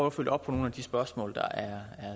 at følge op på nogle af de spørgsmål der er